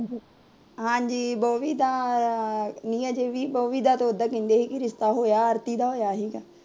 ਹਾਂਜੀ ਨੀ ਬੋਵੀ ਦਾ, ਬੋਵੀ ਦਾ ਉਦਾਂ ਕਹਿੰਦੇ ਸੀ ਰਿਸ਼ਤਾ ਹੋਇਆ ਆਰਤੀ ਦਾ ਹੋਇਆ ਸੀਗਾ